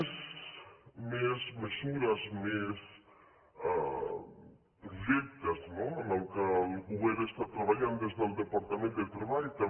més mesures més projectes no en què el govern està treballant des del departament de treball també